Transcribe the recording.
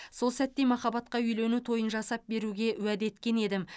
сол сәтте махаббатқа үйлену тойын жасап беруге уәде еткен едім